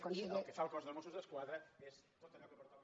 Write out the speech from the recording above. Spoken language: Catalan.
i el que fa el cos dels mossos d’esquadra és tot allò que pertoca